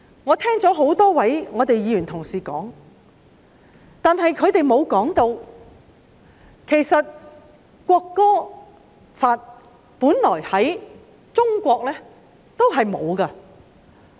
我聽了多位議員同事的發言，他們並沒有指出中國本來並沒有訂立國歌法。